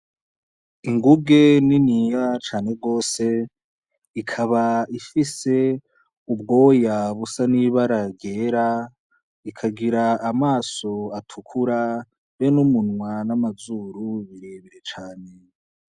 Inguge niniya cane gose ikaba ifise ubwoya busa n’ibara ryera , ikagira amaso atukura hamwe n’umunwa n’amazuru birebire cane .